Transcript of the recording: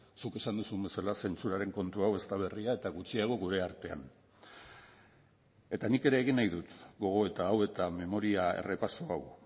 zuk esan duzun bezala zentsuraren kontu hau ez da berria eta gutxiago gure artean eta nik ere egin nahi dut gogoeta hau eta memoria errepaso hau